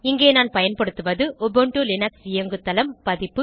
இங்கே நான் பயன்படுத்துவது உபுண்டு லினக்ஸ் இயங்குதளம் பதிப்பு